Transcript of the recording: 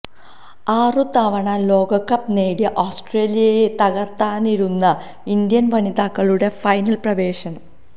ആറുതവണ ലോകകപ്പ് നേടിയ ഓസ്ട്രേലിയയെ തകര്ത്തായിരുന്നു ഇന്ത്യന് വനിതകളുടെ ഫൈനല് പ്രവേശം